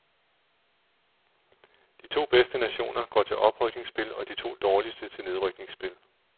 De to bedste nationer går til oprykningsspil og de to dårligste til nedrykningsspil.